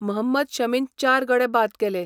महम्मद शमीन चार गडे बाद केले.